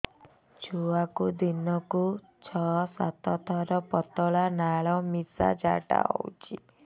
ଛୁଆକୁ ଦିନକୁ ଛଅ ସାତ ଥର ପତଳା ନାଳ ମିଶା ଝାଡ଼ା ହଉଚି